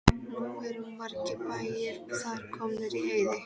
Nú eru margir bæir þar komnir í eyði.